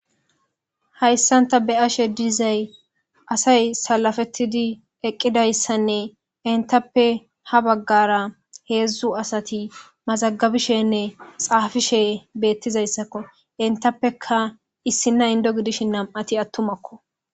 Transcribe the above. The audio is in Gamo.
hayssanta be ashe dizay asay salafettidi eqqidayssanne intappe ha baggara heedzdzu asati mazagabishenne xaafishe beettizayssakko intappeka issinna indo gidishi nam7ati attumakko